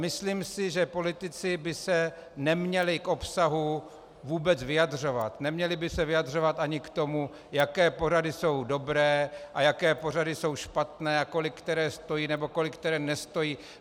Myslím si, že politici by se neměli k obsahu vůbec vyjadřovat, neměli by se vyjadřovat ani k tomu, jaké pořady jsou dobré a jaké pořady jsou špatné a kolik které stojí nebo kolik které nestojí.